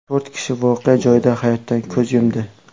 To‘rt kishi voqea joyida hayotdan ko‘z yumdi.